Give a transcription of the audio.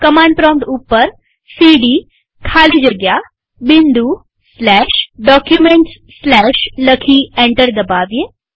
command prompt ઉપર CD ખાલી જગ્યા Documentsકેપિટલમાં ડી લખી અને એન્ટર દબાવીએ